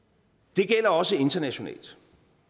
det gælder også internationalt